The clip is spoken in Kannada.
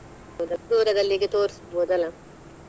ಹೌದು ದೂರದಲ್ಲಿ ಹೀಗೆ ತೋರಿಸ್ಬಹುದಲ್ಲ?